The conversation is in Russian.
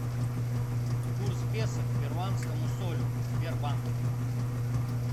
курс песо к перуанскому солю в сбербанке